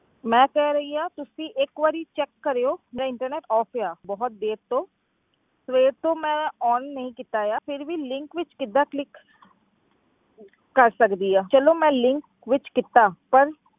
ਮੈਂ ਕਹਿ ਰਹੀ ਹਾਂ ਤੁਸੀਂ ਇੱਕ ਵਾਰੀ check ਕਰਿਓ ਮੇਰਾ internet off ਆ ਬਹੁਤ ਦੇਰ ਤੋਂ ਸਵੇਰ ਤੋਂ ਮੈਂ on ਨਹੀਂ ਕੀਤਾ ਆ ਫਿਰ ਵੀ link ਵਿੱਚ ਕਿੱਦਾਂ click ਕਰ ਸਕਦੀ ਹਾਂ ਚਲੋ ਮੈਂ link ਵਿੱਚ ਕੀਤਾ ਪਰ